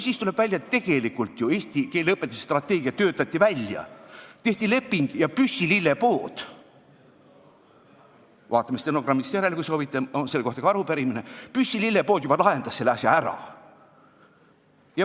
Tuleb välja, et tegelikult ju eesti keele õpetamise strateegia töötati välja, tehti leping ja Püssi lillepood – vaatame stenogrammist järele, kui soovite, selle kohta on ka arupärimine – lahendas juba selle asja ära.